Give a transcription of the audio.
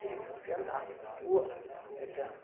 Quer dizer, se você andasse na rua, é claro.